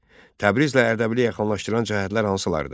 Təbrizlə Ərdəbili yaxınlaşdıran cəhətlər hansılardır?